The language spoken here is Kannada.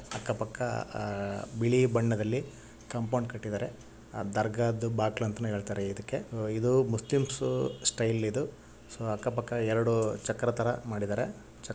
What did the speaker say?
ಅಕ್ಕಪಕ್ಕ ಅಹ್ ಬಿಳಿ ಬಣ್ಣದಲ್ಲಿ‌ ಕಂಪೌಡ ಕಟ್ಟಿದ್ದಾರೆ ಆ ದರ್ಗಾದ ಬಾಕ್ಲ ಅಂತನು ಹೆಳ್ತಾರೆ ಇದಕ್ಕೆ ಇದು ಮುಸ್ಲಿಮ್ಸ ಸ್ಟೈಲ ಇದು ಸೊ ಅಕ್ಕ ಪಕ್ಕ ಎರಡು ಚಕ್ರತರ ಮಾಡಿದರೆ.